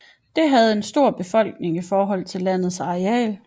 Det havde en stor befolkning i forhold til landets areal